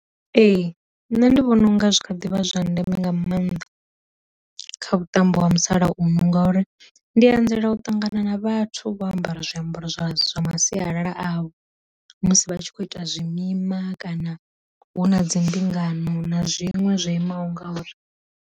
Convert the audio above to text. Ee nṋe ndi vhona u nga zwi tshi kha ḓivha zwa ndeme nga maanḓa kha vhuṱambo ha musalauno, ngauri ndi anzela u ṱangana na vhathu vho ambara zwiambaro zwa zwa ma sialala avho musi vha tshi kho ita zwimima kana hu na dzi mbingano na zwinwe zwo imaho ngauri.